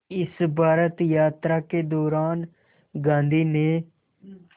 इस भारत यात्रा के दौरान गांधी ने